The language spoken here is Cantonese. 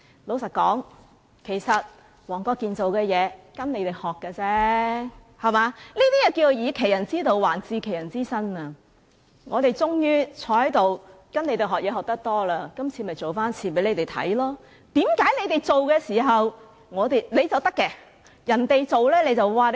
老實說，黃國健議員只是向你們學習而已，是"以其人之道，還治其人之身"，我們坐在這裏終於從你們身上學了很多東西，今次就做一次給你們看，為何你們做就可以，人家做便......